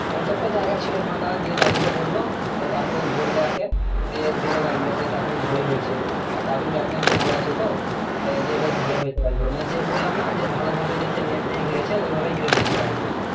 হয় তো একটা জায়গা চলো ফাঁকা দিয়ে দাদু ক বললো দাদু বললো একে দিয়ে দিলো গাছ গুলা এখন বেশ ভালো হয়েছে আর দাদুর যত্ন একটু ভালো আছে তো দিয়ে বেশ ভালোই হয়েছে গাছ গুলো মানে যে বললাম না যে ভালো ভাবে সেই net দিয়ে ঘিরেছে তো ঐভাবাবেই ঘিরে দিয়েছে বাড়িতে।